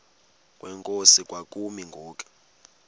kwenkosi kwakumi ngoku